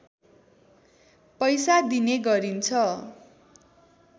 पैसा दिने गरिन्छ